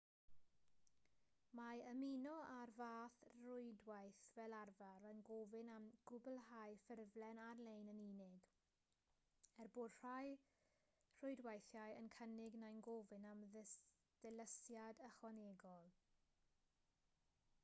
mae ymuno â'r fath rwydwaith fel arfer yn gofyn am gwblhau ffurflen ar-lein yn unig er bod rhai rhwydweithiau yn cynnig neu'n gofyn am ddilysiad ychwanegol